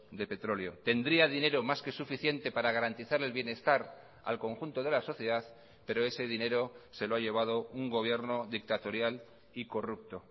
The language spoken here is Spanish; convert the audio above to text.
de petróleo tendría dinero más que suficiente para garantizar el bienestar al conjunto de la sociedad pero ese dinero se lo ha llevado un gobierno dictatorial y corrupto